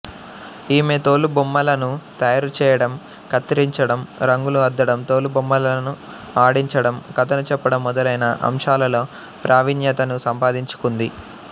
ఈమె తోలుబొమ్మలను తయారు చేయడం కత్తిరించడం రంగులు అద్దడం తోలుబొమ్మలను ఆడించడం కథను చెప్పడం మొదలైన అంశాలలో ప్రావీణ్యతను సంపాదించుకుంది